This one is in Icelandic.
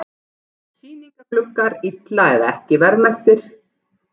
Sýningargluggar illa eða ekki verðmerktir